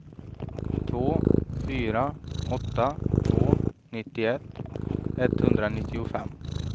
två fyra åtta två nittioett etthundranittiofem